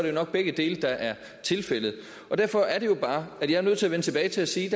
jo nok begge dele der er tilfældet derfor er det jo bare at jeg er nødt til at vende tilbage til at sige